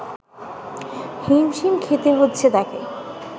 হিমশিম খেতে হচ্ছে তাকে